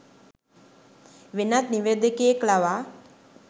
වෙනත් නිවේදකයෙක් ලවා